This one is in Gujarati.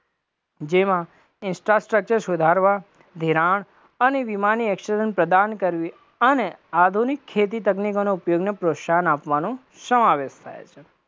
જેમાં insta structure સુધારવા, ધિરાણ અને વીમાની પ્રદાન કરવી અને આધુનિક ખેતી તકનીકોના ઉપયોગને પ્રોત્સાહન આપવાનું સમાવેશ થાય છે,